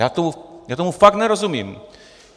Já tomu fakt nerozumím.